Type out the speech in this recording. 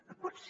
no pot ser